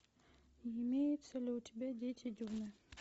имеется ли у тебя дети дюны